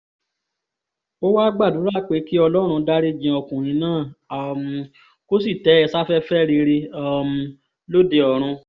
ó wáá gbàdúrà pé kí ọlọ́run dariji ọkùnrin náà um kó sì tẹ́ ẹ sáfẹ́fẹ́ rere um lóde ọ̀run